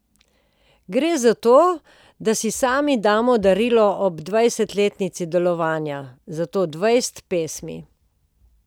Gre za to, da si sami damo darilo ob dvajsetletnici delovanja, zato dvajset pesmi.